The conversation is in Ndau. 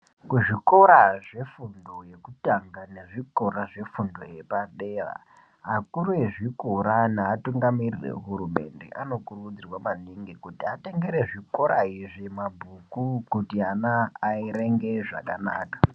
Kuzvikora zvefundo yekutanga nezvikora zvefundo yepadera akuru ezvikora neatungamiriri ehurumende anokurudzirwa maningi kuti atengere zvikora izvi mabhuku kuti ana aerenge zvakanaka.